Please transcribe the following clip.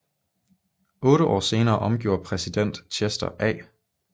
Otte år senere omgjorde præsident Chester A